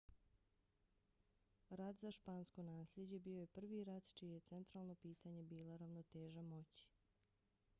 rat za špansko naslijeđe bio je prvi rat čije je centralno pitanje bila ravnoteža moći